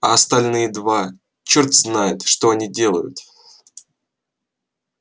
а остальные два чёрт знает что они делают